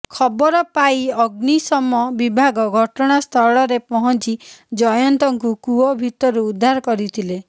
ଖବର ପାଇ ଅଶ୍ନୀଶମ ବିଭାଗ ଘଟଣାସ୍ଥଳରେ ପହଞ୍ଚି ଜୟନ୍ତଙ୍କୁ କୂଅ ଭିତରୁ ଉଦ୍ଧାର କରିଥିଲେ